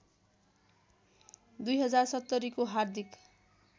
२०७० को हार्दिक